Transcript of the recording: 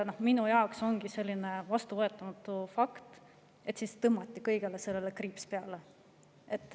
Minu jaoks ongi vastuvõetamatu see fakt, et siis tõmmati kõigele sellele kriips peale.